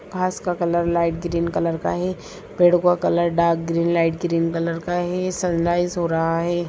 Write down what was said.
घास का colour light green colour का है पेड़ों का colour dark green light green colour का है सनराइज हो रहा है।